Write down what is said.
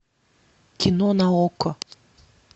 кино на окко